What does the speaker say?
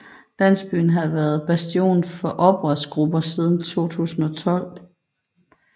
Landsbyen havde været bastion for oprørsgrupper siden 2012